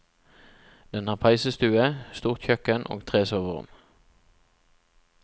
Den har peisestue, stort kjøkken og tre soverom.